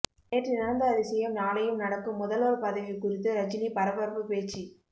நேற்று நடந்த அதிசயம் நாளையும் நடக்கும் முதல்வர் பதவி குறித்து ரஜினி பரபரப்பு பேச்சு